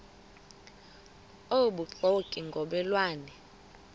obubuxoki ngomme lwane